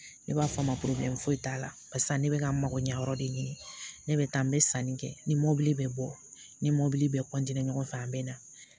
Ne b'a fɔ a ma foyi t'a la barisa ne bɛ ka mago ɲɛ yɔrɔ de ɲini ne bɛ taa n bɛ sanni kɛ ni mɔbili bɛ bɔ ni bɛɛ ɲɔgɔn fɛ a bɛ na